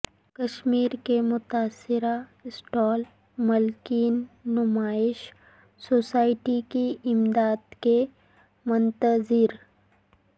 کشمیر کے متاثرہ اسٹال مالکین نمائش سوسائٹی کی امداد کے منتظر